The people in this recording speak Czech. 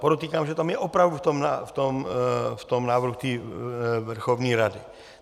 Podotýkám, že tam je opravdu v tom návrhu té Verchovné rady.